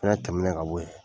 I fɛnɛ tɛmɛnen ka bɔ yen